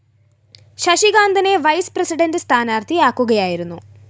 ശശികാന്തനെ vice president സ്ഥാനാര്‍ത്ഥി ആക്കുകയായിരുന്നു